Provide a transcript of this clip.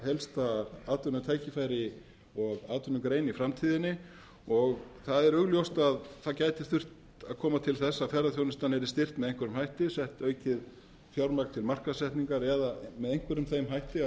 helsta atvinnutækifæri og atvinnugrein í framtíðinni og það er augljóst að koma þyrfti til þess að ferðaþjónustan yrði styrkt með einhverjum hætti sett aukið fjármagn til markaðssetningar eða með einhverjum þeim hætti að